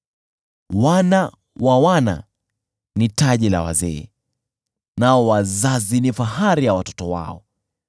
Wana wa wana ni taji la wazee, nao wazazi ni fahari ya watoto wao.